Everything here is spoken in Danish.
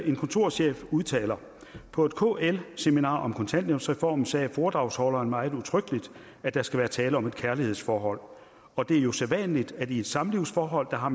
en kontorchef udtaler på et kl seminar om kontanthjælpsreformen sagde foredragsholderen meget udtrykkeligt at der skal være tale om et kærlighedsforhold og det er jo sædvanligt at man i et samlivsforhold har